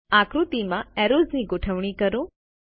હવે આકૃતિમાં એરોઝની ગોઠવણી કરો